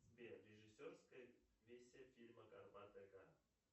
сбер режиссерская версия фильма горбатая гора